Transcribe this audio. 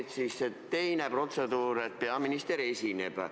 Või siis selle teise protseduuri üle, et peaminister esineb?